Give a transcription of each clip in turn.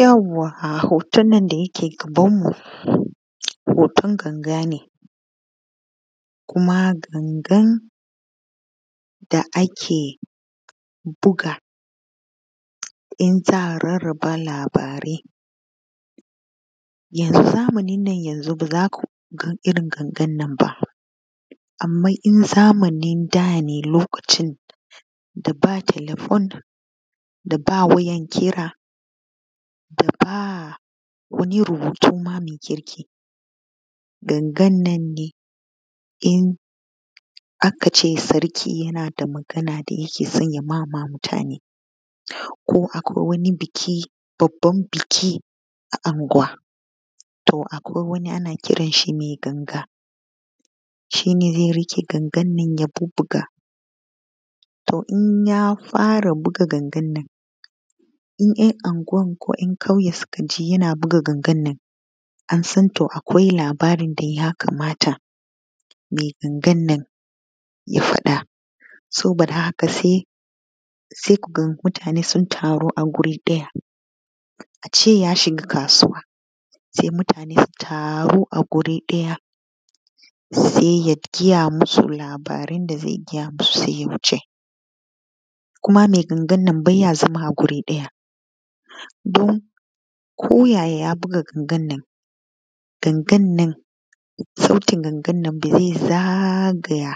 Yauwa hoton non da yake gaban mu hoton ganga ne kuma gangan da ake buga in za’a rarraba labarai. Yanzu zamanin nan yanzu baza kuga irrin gangan nan ba, amma in zamanin da ne lokacin da ba telefon daba wayan kira daba wani rubutun ma kirki gangannan ne. in akace sarki yana da Magana da yakeson mama mutane ko akwai wani biki babban niki a anuguwa to akwai wani ana kiran shi mai ganga shine zai riƙe gangan nan ya bubbuga to inya fara buga gangan nan in yan anguwan ko ‘yan kauye sukaji yana buga gangan nan ansan to akwai labarin da yakamata mai gangan nan ya faɗa saboda haka sai kuga mutane sun taru a guri ɗaya ace ya shiga kasuwa, sai mutane su taru a guri ɗaya sai ya gaya musu labarun da zai gaya musu saiya wuce kuma mai ganagan nan baiya zama a guri ɗaya, to ko yaya ya biga gangananan sautin ganagana nan zai zagaya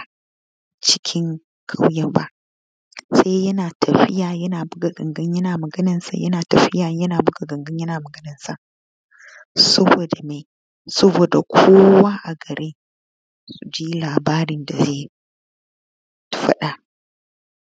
cikin ƙauyeba sai yana tafiya yana buga ganagan yana buga gangan, sai yana tafiya buga gangan saboda me Kowa a garin yaji labarin da zai faɗa.